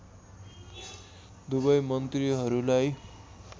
दुवै मन्त्रीहरूलाई